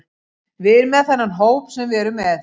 Við erum með þennan hóp sem við erum með.